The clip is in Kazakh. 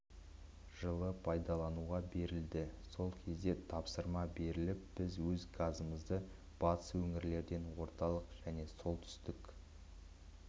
жылы пайдалануға берілді сол кезде тапсырма беріліп біз өз газымызды батыс өңірлерден орталық және солтүстік